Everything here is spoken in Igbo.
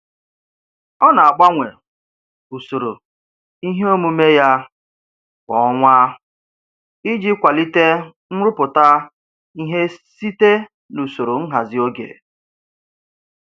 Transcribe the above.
Ọ na-agbanwe usoro ihe omume ya kwa ọnwa iji kwalite nrụpụta ihe site n'usoro nhazi oge.